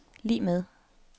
lig med